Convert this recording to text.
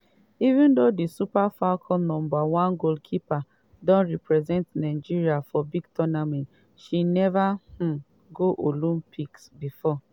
even though di super falcons number one goalkeeper don represent nigeria for big tournaments she neva um go olympics bifor.